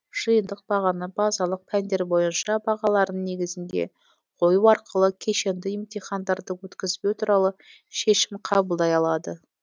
жиынтық бағаны базалық пәндер бойынша бағаларының негізінде қою арқылы кешенді емтихандарды өткізбеу туралы шешім қабылдай алады